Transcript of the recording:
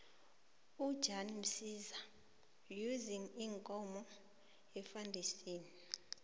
ujan msiza use iinkomo efandisini